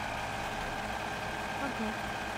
агат